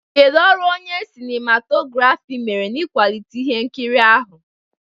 Kedu ọrụ onye sinimatografi mere n'ịkwalite ihe nkiri ahụ?